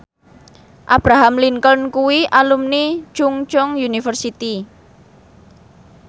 Abraham Lincoln kuwi alumni Chungceong University